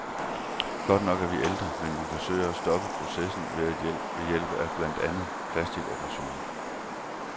Godt nok er vi ældre, men vi forsøger at stoppe processen ved hjælp af blandt andet plasticoperationer.